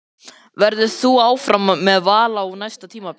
Verður þú áfram með Val á næsta tímabili?